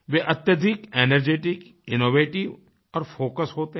वे अत्यधिक energetic innovative और focussedहोते हैं